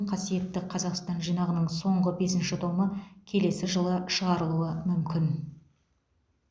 қасиетті қазақстан жинағының соңғы бесінші томы келесі жылы шығарылуы мүмкін